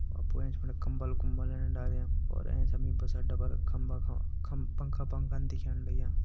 अ फु एंच फण कम्बल कुम्बलन डाल्यां और एंच हमि ई बस अड्डा पर खम्बा ख खम्-पंखा पंखा दिखेण लग्यां।